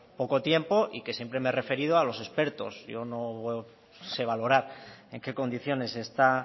poco tiempo y que siempre me he referido a los expertos yo no sé valorar en qué condiciones está